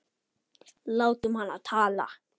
Látum hana tala.